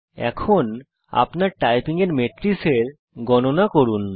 এখন আপনার টাইপিং এর মেট্রিসের গণনা করুন